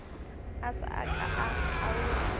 a sa ka a kgaola